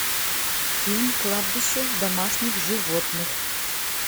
фильм кладбище домашних животных